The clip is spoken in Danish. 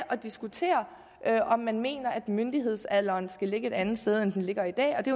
diskutere om man mener at myndighedsalderen skal ligge et andet sted end den gør i dag og det